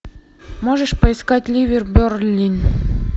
можешь поискать ливер бернли